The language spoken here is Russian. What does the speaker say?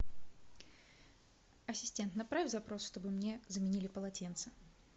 ассистент направь запрос чтобы мне заменили полотенца